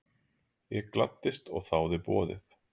Ég gladdist og þáði boðið.